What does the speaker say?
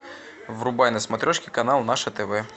врубай на смотрешке канал наше тв